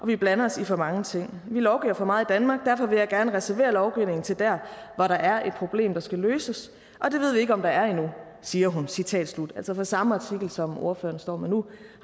vi blander os i for mange ting vi lovgiver for meget i danmark og derfor vil jeg gerne reservere lovgivningen til der hvor der er et problem der skal løses og det ved vi ikke om der er endnu siger hun citat slut altså fra samme artikel som ordføreren står med nu